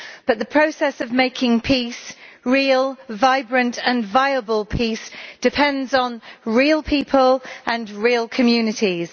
But the process of making peace real, vibrant and viable peace depends on real people and real communities.